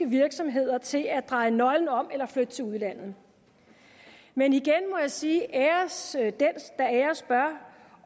virksomheder til at dreje nøglen om eller flytte til udlandet men igen må jeg sige æres bør